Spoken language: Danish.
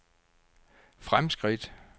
fremskridt